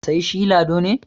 sai shi Lado ne